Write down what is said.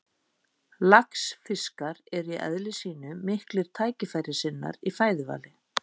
Laxfiskar eru í eðli sínu miklir tækifærissinnar í fæðuvali.